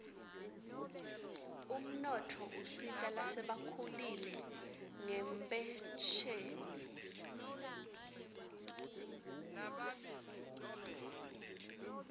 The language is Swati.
umnotfo usita lasebakhulile ngenphesheni